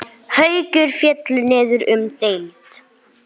Haukar féllu niður um deild.